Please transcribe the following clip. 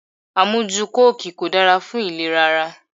Amuju kóòki kò dára fún ìlera ara.